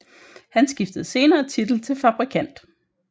Han skiftede senere titel til fabrikant